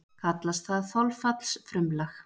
Kallast það þolfallsfrumlag.